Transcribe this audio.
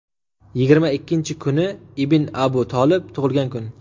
Yigirma ikkinchi kuni ibn Abu Tolib tug‘ilgan kun.